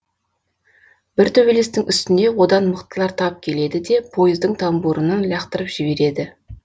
бір төбелестің үстінде одан мықтылар тап келеді де пойыздың тамбуырынан лақтырып жібереді